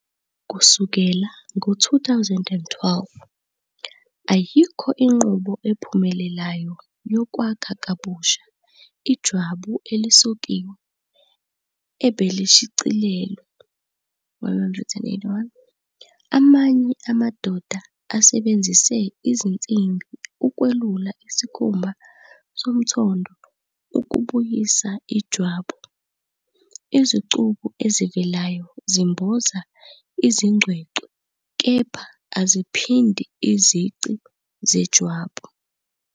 Kusukela ngo-2012, ayikho inqubo ephumelelayo yokwakha kabusha ijwabu elisokiwe ebelishicilelwe. 181 Amanye amadoda asebenzise izinsimbi ukwelula isikhumba somthondo ukubuyisa ijwabu, izicubu ezivelayo zimboza izingcwecwe kepha aziphindi izici zejwabu.